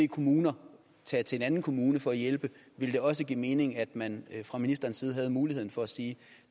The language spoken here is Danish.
kommuner tage til en anden kommune for at hjælpe ville det også give mening at man fra ministerens side havde muligheden for at sige